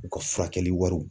U ka furakɛli wariw.